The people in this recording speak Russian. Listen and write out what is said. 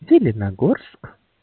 зеленогорск